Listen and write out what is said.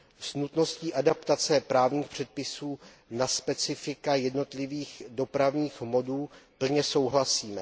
S nutností adaptace právních předpisů na specifika jednotlivých dopravních modů plně souhlasíme.